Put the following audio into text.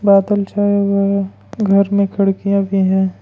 बादल छाए हुए हैं घर में खिड़कियां भी हैं।